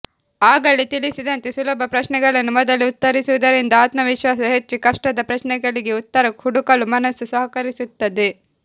ಆಗಲೇ ತಿಳಿಸಿದಂತೆ ಸುಲಭ ಪ್ರಶ್ನೆಗಳನ್ನು ಮೊದಲು ಉತ್ತರಿಸುವುದರಿಂದ ಆತ್ಮವಿಶ್ವಾಸ ಹೆಚ್ಚಿ ಕಷ್ಟದ ಪ್ರಶ್ನೆಗಳಿಗೆ ಉತ್ತರ ಹುಡುಕಲು ಮನಸ್ಸು ಸಹಕರಿಸುತ್ತದೆ